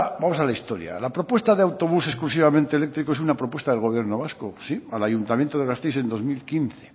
vamos a la historia la propuesta de autobús exclusivamente eléctrico es una propuesta del gobierno vasco sí al ayuntamiento de gasteiz en dos mil quince